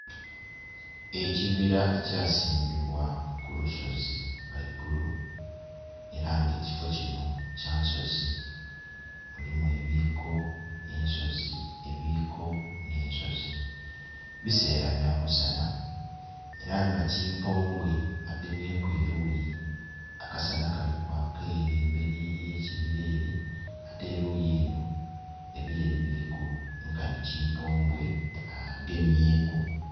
Ekibira ekyasimbibwa kulusozi ghaigulu era nga ekifo kino kya nsozi mulimu ebiko n' nsozi ebiko n' nsozi ,ebisera byamusana era nga kyimpuombwe agemyeku eruyi akasana kalikwakaku ere emberi yekibira ere ate eruyino ebireri biriku nkanhi kimpombwe agemyeku